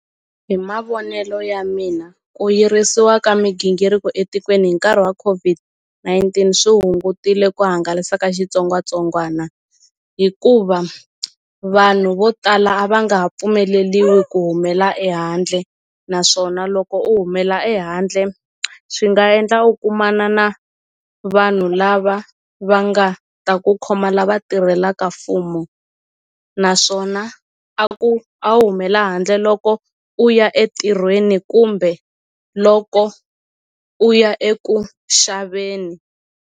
Hi mavonelo ya mina ku yirisiwa ka migingiriko etikweni hi nkarhi wa COVID-19 swi hungutile ku hangalasa ka xitsongwatsongwana hikuva vanhu vo tala a va nga ha pfumeleliwi ku humela ehandle naswona loko u humela ehandle swi nga endla u kumana na vanhu lava va nga ta ku khoma lava tirhelaka fumo naswona a ku a wu humela handle loko u ya etirhweni kumbe loko u ya eku xaveni.